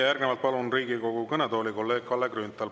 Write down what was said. Järgnevalt palun Riigikogu kõnetooli kolleeg Kalle Grünthali.